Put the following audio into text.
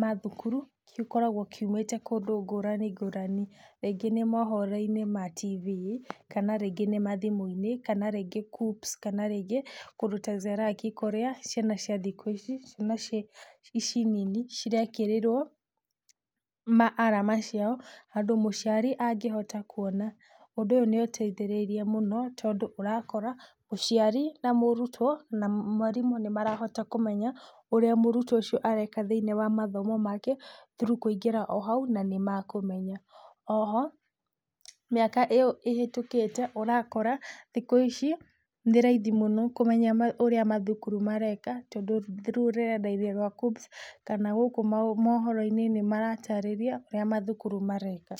ma thukuru, gĩkoragwo kiumĩte kũndũ ngũrani ngũrani, rĩngĩ nĩ mohoro-inĩ ma TV kana rĩngĩ nĩ mathimũ-inĩ kana rĩngĩ KUCCPS kana rĩngĩ, kũndũ ta zeraki kũrĩa ciana cia thikũ ici, nĩ ci, ici nini, cirekĩrĩrwo ma arama ciao handũ mũciari angĩhota kuona, ũndũ ũyũ nĩũteithĩrĩirie mũno, tondũ ũrakora mũciari na mũrutwo na mwarimũ nĩmarahota kũmenya ũrĩa mũrutwo ũcio areka thĩ-inĩ wa mathomo make through kũingĩra o hau nanĩmekũmenya, oho, mĩaka ĩyo ĩhetũkĩte ũrakora, thikũ ici, nĩ raithi mũno kũmenya ũrĩa mathukuru mareka, tondũ through rũrenda-inĩ rwa KUCCPS kana gũkũ ama mohoro-inĩ nĩmaratarĩria ũrĩa mathukuru mareka.